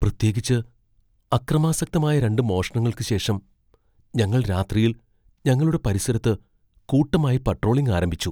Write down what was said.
പ്രത്യേകിച്ച് അക്രമാസക്തമായ രണ്ട് മോഷണങ്ങൾക്ക് ശേഷം ഞങ്ങൾ രാത്രിയിൽ ഞങ്ങളുടെ പരിസരത്ത് കൂട്ടമായി പട്രോളിംഗ് ആരംഭിച്ചു.